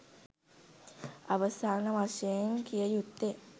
අවසාන වශයෙන් කිය යුත්තේ